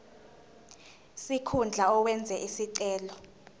sikhundla owenze isicelo